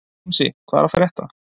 Jónsi, hvað er að frétta?